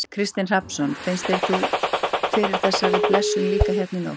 Kristinn Hrafnsson: Fannst þú fyrir þessari blessun líka hérna í nótt?